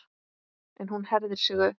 En hún herðir sig upp.